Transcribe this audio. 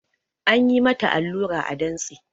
An yi mata allura a dantse